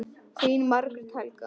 Þín Margrét Helga.